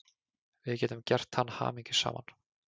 Við getum gert hann hamingjusaman.